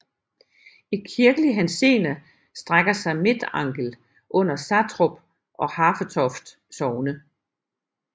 I kirkelig henseende strækker sig Midtangel under Satrup og Hafetoft Sogne